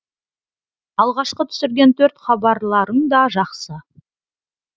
алғашқы түсірген төрт хабарларың да жақсы